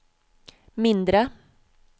mindre